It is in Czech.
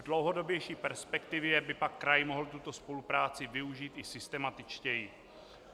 V dlouhodobější perspektivě by pak kraj mohl tuto spolupráci využít i systematičtěji.